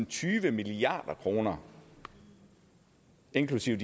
tyve milliard kroner inklusive